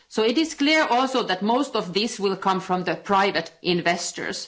It is clear also that most of this will come from private investors.